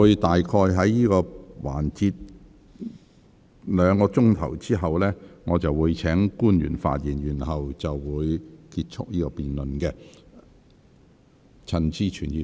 當這個環節再進行約兩個小時後，我會請官員發言，然後結束這項辯論。